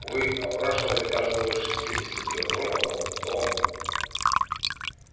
вы опрашивали каждого из шестидесяти трёх роботов кто он